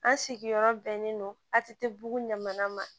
An sigiyɔrɔ bɛnnen don a tɛ bu ɲaman ma